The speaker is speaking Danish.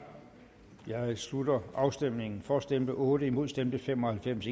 slutter afstemningen for stemte otte imod stemte fem og halvfems